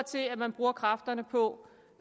til at man bruger kræfterne på